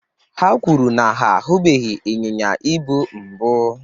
ha kwuru na ha ahụbeghị ịnyịnya ibu mbụ